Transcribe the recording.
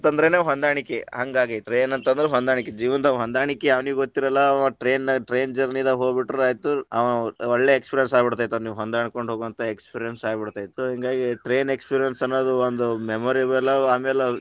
ಅಂತಂದ್ರೆನೆ ಹೊಂದಾಣಿಕೆ ಹಂಗಾಗಿ train ಅಂತಂದ್ರ ಹೊಂದಾಣಿಕೆ, ಜೀವನದಾಗ ಹೊಂದಾಣಿಕೆ ಯಾವನಿಗೆ ಗೊತ್ತಿರಲ್ಲ ಅವಾ train ನ train journey ದಾಗ ಹೋಗ್ಬಿಟ್ರ ಆಯಿತು ಅವ ಒಳ್ಳೆ experience ಆಗ್ಬಿಡತೇತಿ ಅವ್ನಿಗೆ ಹೊಂದಿಕೊಂಡು ಹೊಗೋವಂತಾ experience ಆಗ್ಬಿಡ್ತೇತ, ಹಿಂಗಾಗಿ train experience ಅನ್ನೋದು ಒಂದು memorable ಆಮ್ಯಾಲ.